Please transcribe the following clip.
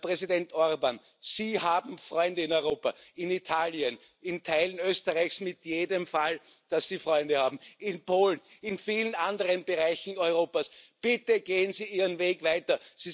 Herr Präsident Orbán, Sie haben Freunde in Europa, in Italien, in Teilen Österreichs in jedem Fall, Sie haben Freunde in Polen, in vielen anderen Bereichen Europas Bitte gehen Sie Ihren Weg weiter!